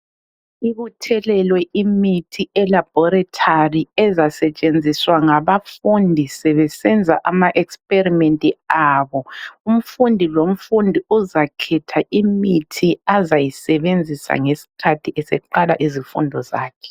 Ibuthelelwe imithi elaborethari ezasetshenziswa ngabafundi sebesenza ama experimenti abo. Umfundi lomfundi uzakhetha imithi azayisebenzisa ngesikhathi eseqala izifundo zakhe.